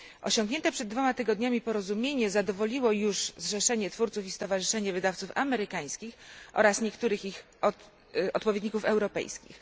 Osiągnięte przed dwoma tygodniami porozumienie zadowoliło już Zrzeszenie Twórców i Stowarzyszenie Wydawców Amerykańskich oraz niektórych ich odpowiedników europejskich.